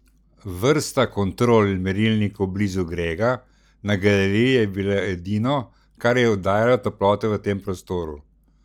Vrsta kontrol in merilnikov blizu Grega na galeriji je bilo edino, kar je oddajalo toploto v tem prostoru.